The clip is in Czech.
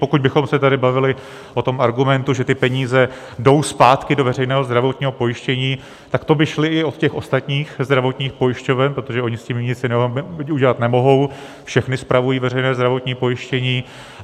Pokud bychom se tady bavili o tom argumentu, že ty peníze jdou zpátky do veřejného zdravotního pojištění, tak to by šly i od těch ostatních zdravotních pojišťoven, protože ony s tím nic jiného udělat nemohou, všechny spravují veřejné zdravotní pojištění.